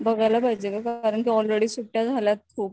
बघायला पाहिजेत कारण कि ऑलरेडी सुट्ट्या झाल्याय खूप.